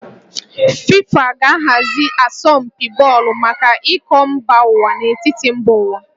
FIFA ga-ahazi asọmpi bọọlụ maka iko mba ụwa n'etiti mba ụwa